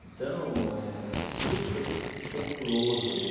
Então, é é superpopuloso ali.